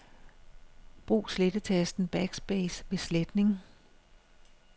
Brug slettetasten Backspace ved sletning.